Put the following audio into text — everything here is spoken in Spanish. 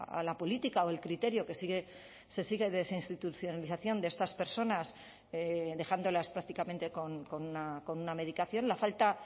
a la política o el criterio que sigue se sigue desinstitucionalización de estas personas dejándolas prácticamente con una medicación la falta